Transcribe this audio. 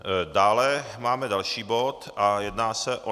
Dále máme další bod a jedná se o